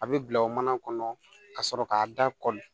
A bɛ bila o mana kɔnɔ ka sɔrɔ k'a da kɔli